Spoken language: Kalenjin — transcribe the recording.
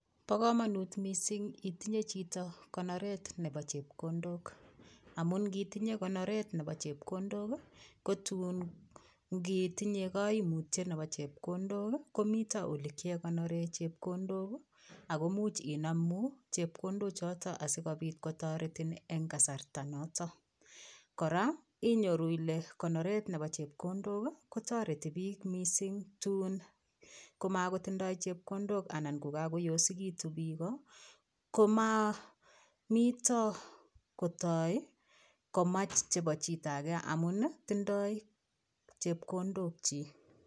Ba kamanut mising itinye Chito konoret Nebo chepkondok amun kotinye koraa konoret Nebo chepkondok kotun kotinye kaimutiet Nebo chepkondok komiten yeleigonoren chepkondok akomuche Inam chekondok choton asikobit kotareti en kasarta ne noton koraa inyoru Ile konoret Nebo chepkondok kon tareti bik mising kotun makotindoi chepkondok anan kokakoyosekitun bik ko ma niton kotai komach Nebo chitoge amun tindoi chekondok chik